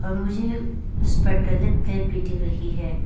और मुझे उसे पर टॉयलेट भी रही है।